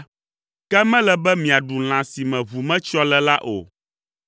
“Ke mele be miaɖu lã si me ʋu metsyɔ le la o.